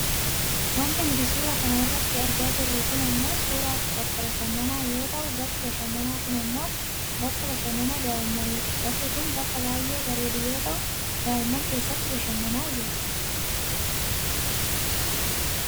Wanti nuti suura kana irratti argaa jirru kun ammoo suuraa bakka bashananaa yoo ta'u bakki bashananaa kun ammoo bakka bashananaa daa'imaniiti. Bakki kun bakka baayyee barerdu yoo ta'u daa'imman keessatti bashannanaa jiru